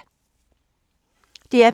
DR P3